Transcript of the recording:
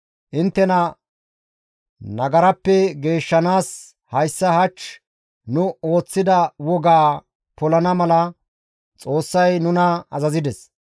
Inttena nagarappe geeshshanaas hayssa hach nu ooththida wogaa polana mala Xoossay nuna azazides.